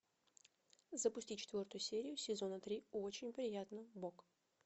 запусти четвертую серию сезона три очень приятно бог